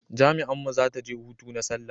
jami'an mu za ta je hutu na sallah